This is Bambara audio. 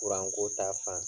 ta fanfɛ